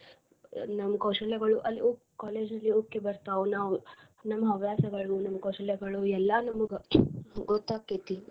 ನಮ್ ಕೌಶಲ್ಯಗಳು ಅಲ್ಲಿ ಉಕ್ಕಿ college ಅಲ್ಲಿ ಉಕ್ಕಿ ಬರ್ತಾವ ನಾವ್ ನಮ್ಮ ಹವ್ಯಾಸಗಳನ್ನ ನಮ್ಮ ಕೌಶಲ್ಯಗಳು ಎಲ್ಲಾ ನಮ್ಗ ಗೊತ್ತ ಆಕ್ಕೇತಿ